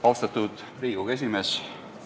Austatud Riigikogu esimees!